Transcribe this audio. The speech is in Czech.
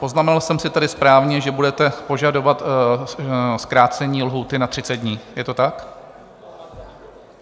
Poznamenal jsem si tedy správně, že budete požadovat zkrácení lhůty na 30 dní, je to tak?